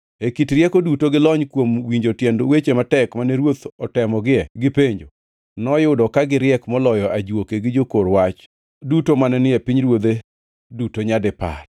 E kit rieko duto gi lony kuom winjo tiend weche matek mane ruoth otemogie gi penjo, noyudo ka giriek moloyo ajuoke gi jokor wach duto mane ni e pinyruodhe duto nyadipar.